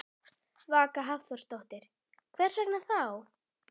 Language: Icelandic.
Vaka Hafþórsdóttir: Hvers vegna þá?